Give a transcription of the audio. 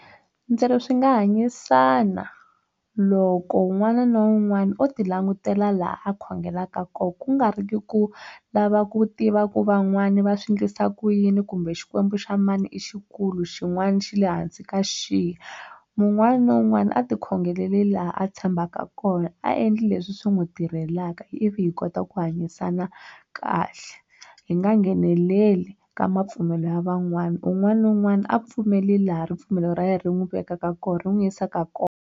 Ndzi ri swi nga hanyisana loko un'wana na un'wana o ti langutela laha a khongelaka koho ku nga ri ki ku lava ku tiva ku van'wana va swi endlisa ku yini kumbe xikwembu xa mani i xikulu xin'wana xi le hansi ka xihi mun'wana na un'wana a ti khongeleli laha a tshembaka kona a endli leswi swi n'wi tirhelaka ivi hi kota ku hanyisana kahle hi nga ngheneleli ka mapfumelo ya van'wana un'wana na un'wana a pfumeli laha ripfumelo ra yena ri n'wi vekaka koho ri n'wi yisaka kona.